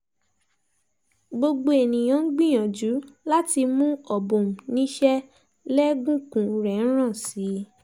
gbogbo èèyàn ń gbìyànjú láti mú obum níṣẹ́ lẹ́gùnkùn rẹ̀ ń ràn sí i